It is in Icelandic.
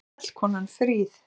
Fjallkonan fríð!